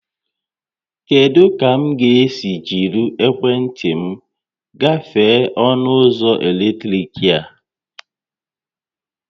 Kedụ ka m ga-esi jírí ekwentị m gafee ọnụ ụzọ eletrọnịkị a?